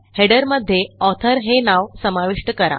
header मध्ये authorहे नाव समाविष्ट करा